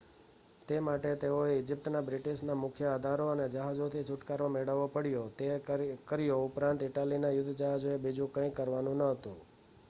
તે માટે તેઓએ ઇજિપ્તમાંથી બ્રિટિશના મુખ્ય અધારો અને જહાજોથી છુટકારો મેળવવો પડ્યો તે કર્યો ઉપરાંત ઇટાલીના યુદ્ધ જહાજોએ બીજું કંઈ કરવાનું ન હતું